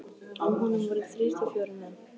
Á honum voru þrír til fjórir menn.